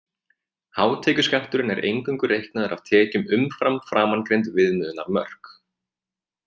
Hátekjuskatturinn er eingöngu reiknaður af tekjum umfram framangreind viðmiðunarmörk.